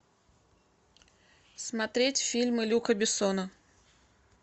смотреть фильмы люка бессона